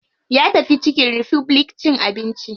Ya tafi chicken republic cin abinci.